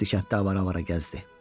Bəsdir kənddə avara-avara gəzdi.